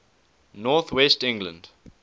north west england